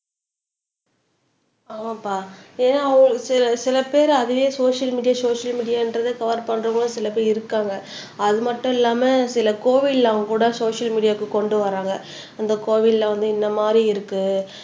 ஆமாம்ப்பா ஏன்னா சில பேரு அதுவே சோசியல் மீடியா சோசியல் மீடியான்றதை கவர் பண்றவங்க சில பேர் இருக்காங்க அது மட்டும் இல்லாம சில கோவில்ல அவங்க கூட சோசியல் மீடியாக்கு கொண்டு வர்றாங்க அந்த கோவில்ல வந்து இந்த மாரி இருக்கு